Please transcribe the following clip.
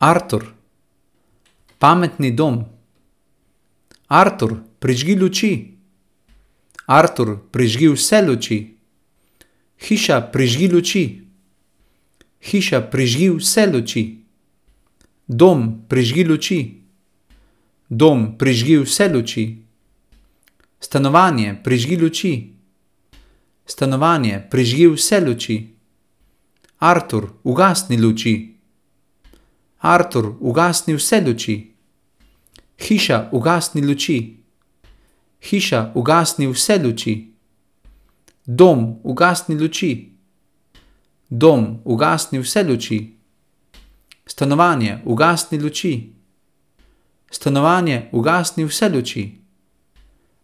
Artur. Pametni dom. Artur, prižgi luči. Artur, prižgi vse luči. Hiša, prižgi luči. Hiša, prižgi vse luči. Dom, prižgi luči. Dom, prižgi vse luči. Stanovanje, prižgi luči. Stanovanje, prižgi vse luči. Artur, ugasni luči. Artur, ugasni vse luči. Hiša, ugasni luči. Hiša, ugasni vse luči. Dom, ugasni luči. Dom, ugasni vse luči. Stanovanje, ugasni luči. Stanovanje, ugasni vse luči.